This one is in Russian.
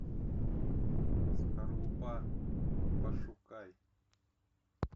скорлупа пошукай